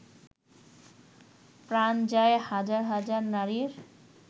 প্রাণ যায় হাজার হাজার নারীর